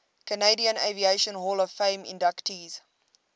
canadian aviation hall of fame inductees